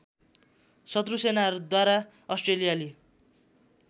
शत्रु सेनाहरूद्वारा अस्ट्रेलियाली